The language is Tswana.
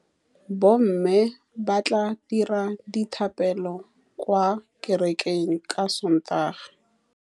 Bommê ba tla dira dithapêlô kwa kerekeng ka Sontaga.